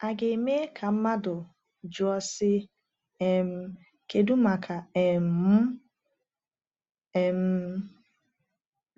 A ga - eme ka mmadụ jụọ, sị: ‘ um Kedu maka um m ?’ um